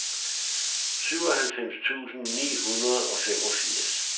syvoghalvfems tusind ni hundrede og femogfirs